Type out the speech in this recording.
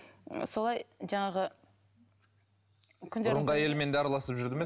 ы солай жаңағы бұрынғы әйелімен де араласып жүрді ме